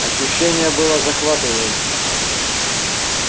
ощущение было захватывающим